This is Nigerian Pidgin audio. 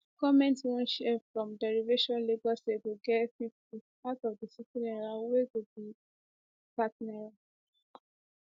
goment wan share from derivation lagos state go get 50 of di n60 wey go be n30